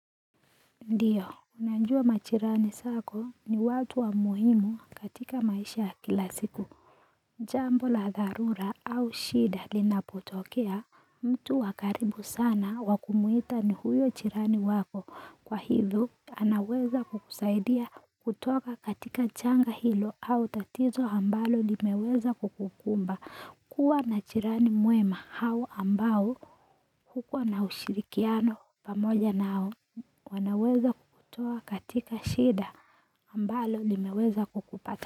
Ndiyo, unajua majirani zako ni watu wa muhimu katika maisha ya kila siku Jambo la dharura au shida linapotokea mtu wa karibu sana wa kumwita ni huyo jirani wako kwa hivyo anaweza kukusaidia kutoka katika janga hilo au tatizo ambalo limeweza kukukumba kuwa na jirani mwema hao ambao kukuwa na ushirikiano pamoja nao wanaweza kukutoa katika shida ambalo limeweza kukupata.